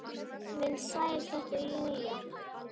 Amma mín, sæl þetta er Lilla